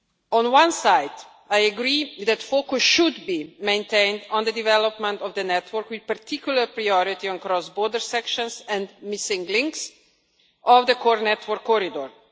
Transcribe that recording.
On one side, I agree that focus should be maintained on the development of the network, with particular priority on cross border sections and missing links of the Core Network Corridors.